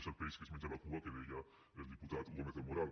és el peix que es menja la cua que deia el diputat gómez del moral